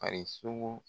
A ye sunugu